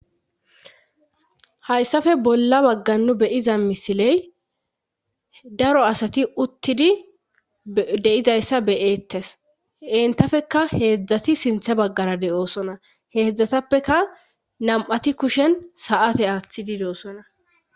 hayssafe bolla bagga nu beyiza misiley daro asati uttidi deyizayssa beyeettes entafeka heedzdzati sinthe baggara de7oosona heedzdzatappeka nam7ati kushen saate aaththidi dosona